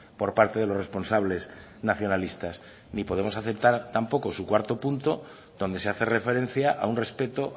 por parte de los responsables nacionalistas ni podemos aceptar tampoco su cuarto punto donde se hace referencia a un respeto